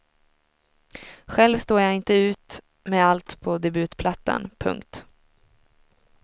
Själv står jag inte ut med allt på debutplattan. punkt